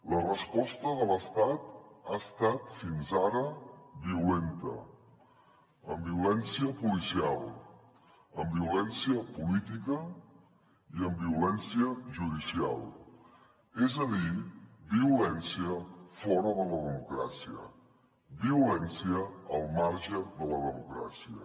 la resposta de l’estat ha estat fins ara violenta amb violència policial amb violència política i amb violència judicial és a dir violència fora de la democràcia violèn cia al marge de la democràcia